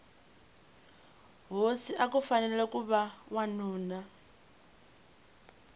hosi akufanele kuva wanuna